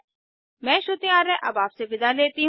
मैं श्रुति आर्य अब आपसे विदा लेती हूँ